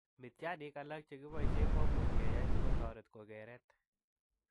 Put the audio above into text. Mityaaniik alak chebkitese komuch ke yaay si kotoret kokeret.